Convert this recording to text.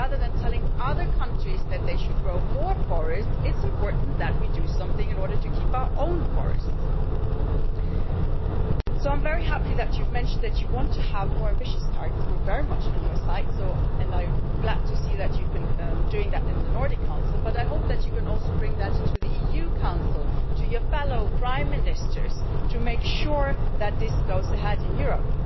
And rather than telling other countries that they should grow more forests, it is important that we do something in order to keep our own forests. So I'm very happy that you've mentioned that you want to have more ambitious targets. We are very much on your side and I am glad to see that you've been doing that in the Nordic Council but I hope that you can also bring that to the EU Council, to your fellow Prime Ministers, to make sure that this goes ahead in Europe.